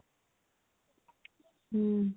ହୁଁ